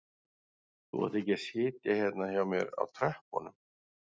Þú átt ekki að sitja hérna hjá mér á tröppunum